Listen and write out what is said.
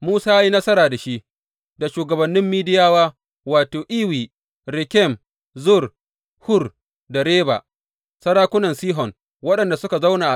Musa ya yi nasara da shi, da shugabannin Midiyawa, wato, Ewi, Rekem, Zur, Hur, da Reba, sarakunan Sihon, waɗanda suka zauna a ƙasar.